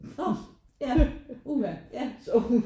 Åh ja uha ja